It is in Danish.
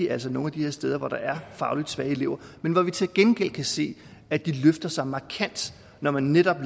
altså nogle af de her steder hvor der er fagligt svage elever men hvor vi til gengæld kan se at de løfter sig markant når man netop